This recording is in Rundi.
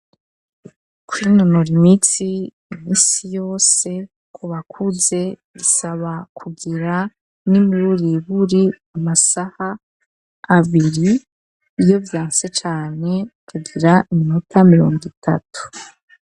Kwinonora imitsi, imisi yose, ku bakuze bisaba kugira, n'imiburiburi, amasaha abiri; iyo vyanse cane, kugira iminota, mirongo itatu.